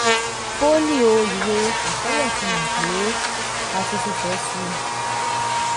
fólíò ìwé àkọọ́lẹ̀ fihàn pé a ti ti tẹ̀ ẹ́ si.